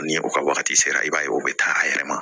Ni o ka wagati sera i b'a ye o bɛ taa a yɛrɛ ma